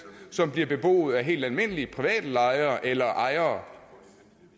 som bliver beboet af helt almindelige private lejere eller ejere